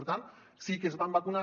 per tant sí que es van vacunar